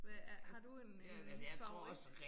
Hvad er har du en en favorit?